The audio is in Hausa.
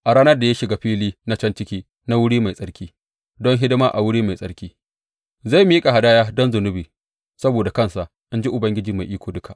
A ranar da ya shiga fili na can ciki na wuri mai tsarki don hidima a wuri mai tsarki, zai miƙa hadaya don zunubi saboda kansa, in ji Ubangiji Mai Iko Duka.